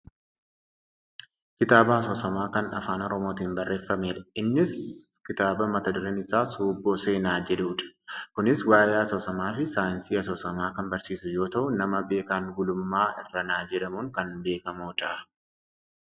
kitaaba asoosamaa kan afaan oromootiin barreeffamedha innis kitaaba mata dureen isaa " suubboo seenaa" jedhudha. kunis waayee asoosamaafi saayinsii asoosamaa kan barsiisu yoo ta'u nama Beekan Gulummaa Irranaa jedhamuun kan beekkamudha.